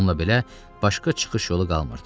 Bununla belə başqa çıxış yolu qalmırdı.